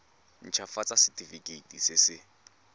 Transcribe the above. nt hafatsa setefikeiti se se